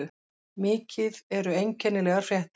Mikið um einkennilegar fréttir